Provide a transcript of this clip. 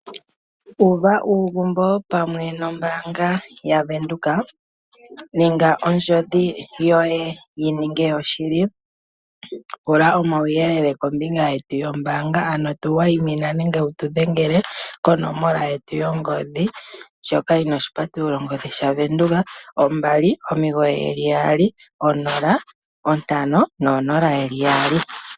Uva uugumbo pamwe nombaanga yaWindhoek ,ninga ondjodhi yoye yininge yoshili pula omauyelele kombinga yombaanga ano tuwayimina nenge wutudhengele konomola yetu yongodhi 0612990500.